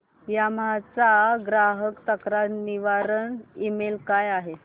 Yamaha चा ग्राहक तक्रार निवारण ईमेल काय आहे